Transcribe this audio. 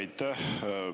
Aitäh!